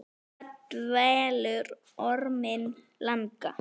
Hvað dvelur orminn langa?